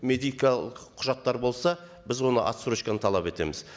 медикалық құжаттар болса біз оны отсрочканы талап етеміз